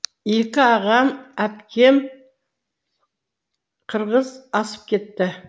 екі ағам әпкем қырғыз асып кетті